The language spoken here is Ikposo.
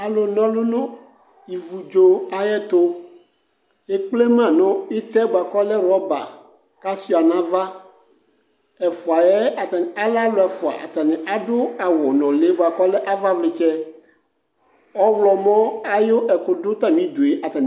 Alʋna ɔlʋ nʋ ivudzo ayɛtʋ Ekple ma nʋ ɩtɛ bʋa kʋ ɔlɛ rɔba kʋ asʋɩa nʋ ava Ɛfʋ yɛ atanɩ alɛ alʋ ɛfʋa Atanɩ adʋ awʋnʋlɩ bʋa kʋ ɔlɛ avavlɩtsɛ Ɔɣlɔmɔ ayʋ ɛkʋ dʋ atamɩdu yɛ